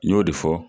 N y'o de fɔ